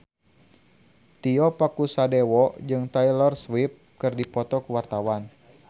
Tio Pakusadewo jeung Taylor Swift keur dipoto ku wartawan